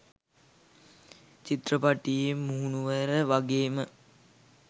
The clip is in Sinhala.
චිත්‍රපටයේ මුහුණුවර වගේම